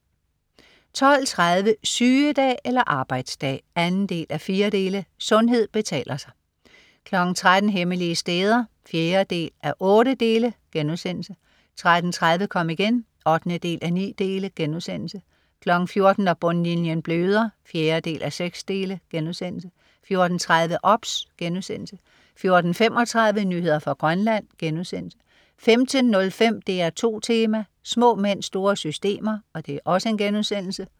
12.30 Sygedag eller arbejdsdag? 2:4. Sundhed betaler sig 13.00 Hemmelige steder 4:8* 13.30 Kom igen 8:9* 14.00 Når bundlinjen bløder 4:6* 14.30 OBS* 14.35 Nyheder fra Grønland* 15.05 DR2 Tema: Små mænd, Store Systemer*